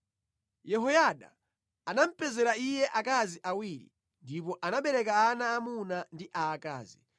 Yehoyada anamupezera iye akazi awiri, ndipo anabereka ana aamuna ndi aakazi.